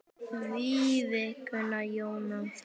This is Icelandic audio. Þín vinkona Jóna Þórunn.